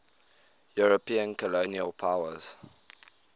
european colonial powers